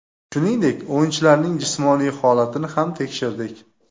Shuningdek, o‘yinchilarning jismoniy holatini ham tekshirdik.